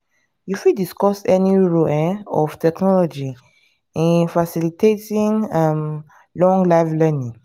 you fit discuss dey role um of technology in facilitating um lifelong learning.